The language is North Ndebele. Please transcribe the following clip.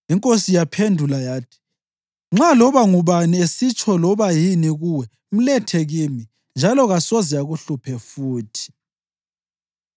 Inkosi yaphendula yathi, “Nxa loba ngubani esitsho loba yini kuwe, mlethe kimi, njalo kasoze akuhluphe futhi.”